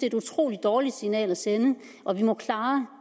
et utrolig dårligt signal at sende og at vi må klare